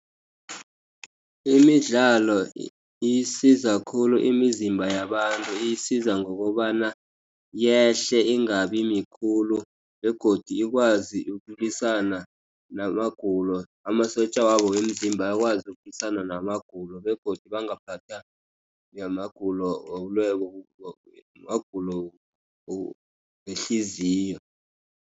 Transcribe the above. Imidlalo isiza khulu imizimba yabantu, iyisiza ngokobana yehle, ingabi mikhulu, begodu ikwazi ukulwisana namagulo, amasotja wabo womzimba akwazi ukulwisana namagulo, begodu bangaphatha namagulo wehliziyo.